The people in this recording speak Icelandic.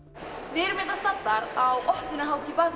við erum hérna staddar á opnunarhátíð